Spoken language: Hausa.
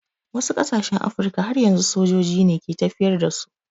Wasu ƙasashen Afirka har yanzu sojoji ne ke tafiyar da su.